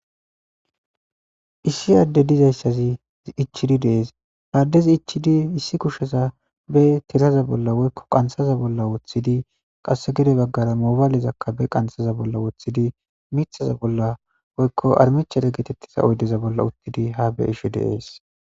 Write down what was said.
issi adde dizayssazi ichidi dees haaddezi ichidi issi kusheza be tiraza bolla woykko qanshaza bolla woththidi qasse gede baggara moobaalezakka be qansaza bolla woththidi mithaza bolla woykko armichere geetettiza oydeza bolla uttidi ha be ishe deees